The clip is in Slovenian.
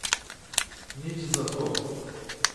Nič za to.